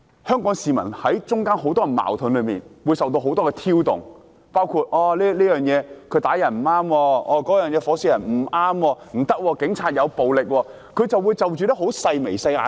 香港市民身處很多社會矛盾之中，情緒受很多挑動，包括有人會說打人不對、點火燒傷人不對、警察使用暴力不對等，就着很多細微的事情......